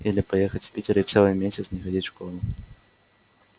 или поехать в питер и целый месяц не ходить в школу